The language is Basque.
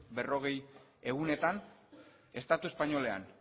berrogei egunetan estatu espainolean